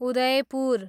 Udaipur